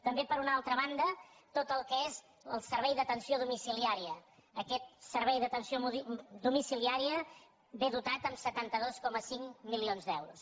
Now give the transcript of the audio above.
també per una altra banda tot el que és el servei d’atenció domiciliària aquest servei d’atenció domici·liària ve dotat amb setanta dos coma cinc milions d’euros